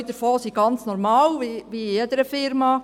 Zwei davon sind ganz normal, wie in jeder Firma: